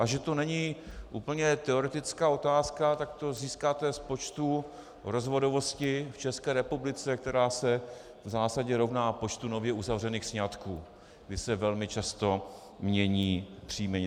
A že to není úplně teoretická otázka, tak to získáte z počtu rozvodovosti v České republice, která se v zásadě rovná počtu nově uzavřených sňatků, kdy se velmi často mění příjmení.